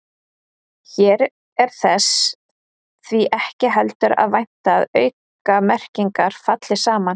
Hér er þess því ekki heldur að vænta að aukamerkingar falli saman.